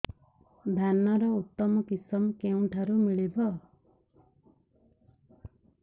ଧାନର ଉତ୍ତମ କିଶମ କେଉଁଠାରୁ ମିଳିବ